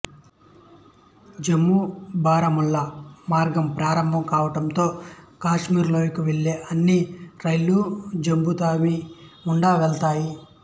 జమ్మూబారాముల్లా మార్గం ప్రారంభం కావడంతో కాశ్మీర్ లోయకు వెళ్లే అన్ని రైళ్లు జమ్మూ తావి గుండా వెళతాయి